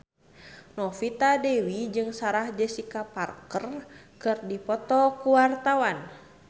Novita Dewi jeung Sarah Jessica Parker keur dipoto ku wartawan